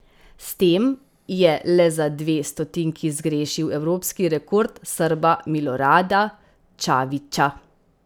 S tem je le za dve stotinki zgrešil evropski rekord Srba Milorada Čavića.